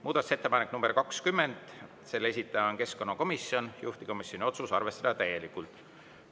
Muudatusettepanek nr 20, selle esitaja on keskkonnakomisjon, juhtivkomisjoni otsus: arvestada täielikult.